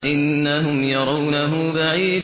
إِنَّهُمْ يَرَوْنَهُ بَعِيدًا